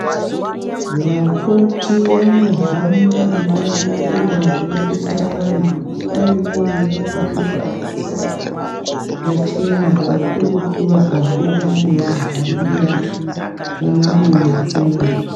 Vakoti vanohamba ndau ngendau veidetsera vantu nguwa imweni yavanenge veivadetsera pachena kakurutu vakabuda veyivahambira mumabuya umwo.